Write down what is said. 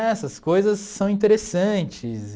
Essas coisas são interessantes.